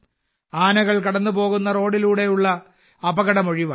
ആനകൾ കടന്നുപോകുന്ന റോഡുകളിലൂടെയുള്ള അപകടം ഒഴിവായി